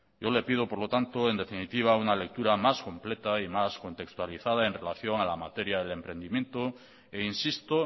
yo le pido por lo tanto en definitiva una lectura más completa y más contextualizada en relación a la materia del emprendimiento e insisto